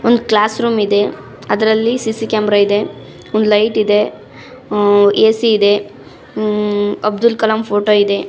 ಒಂದು class room ಇದೆ ಅದ್ರಲ್ಲಿ ಸಿ.ಸಿ ಕ್ಯಾಮೆರಾ ಇದೆ ಒಂದು ಲೈಟ್ ಇದೆ ಉಹ್ ಎ.ಸಿ ಇದೆ ಉಹ್ ಅಬ್ದುಲ್ ಕಲಾಂ ಫೋಟೋ ಇದೆ.